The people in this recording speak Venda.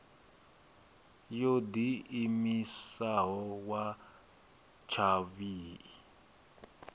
yo diimisaho ya tshavhi i